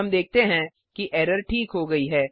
हम देखते हैं कि एरर ठीक हो गई है